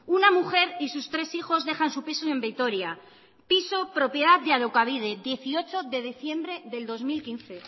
una mujer y sus tres hijos dejan su piso en vitoria piso propiedad de alokabide dieciocho de diciembre del dos mil quince